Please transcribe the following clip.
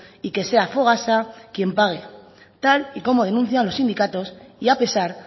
y que sea fogasa quien pague tal y como denuncian los sindicatos y a pesar